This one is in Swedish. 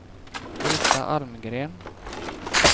Britta Almgren